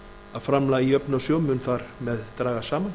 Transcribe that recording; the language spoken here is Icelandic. að framlag í jöfnunarsjóð mun þar með dragast saman